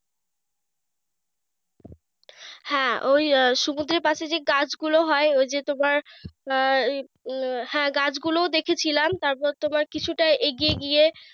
হ্যাঁ ওই আহ সমুদ্রের পাশে যে গাছগুলো হয় ঐযে তোমার আহ হ্যাঁ গাছগুলো দেখেছিলাম। তারপর তোমার কিছুটা এগিয়ে গিয়ে,